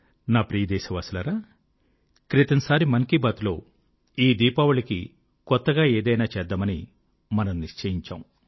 నా ప్రియ దేశవాసులారా క్రితం సారి మన్ కీ బాత్ లో ఈ దీపావళికి కొత్తగా ఏదైనా చేద్దామని మనం నిశ్చయించాము